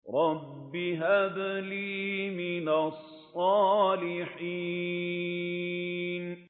رَبِّ هَبْ لِي مِنَ الصَّالِحِينَ